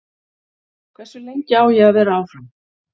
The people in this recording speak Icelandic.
Hversu lengi á ég að vera áfram?